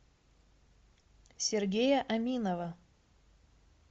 сергея аминова